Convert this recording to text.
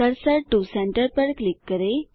cursor to centre पर click करें